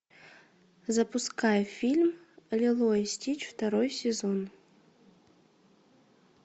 запускай фильм лило и стич второй сезон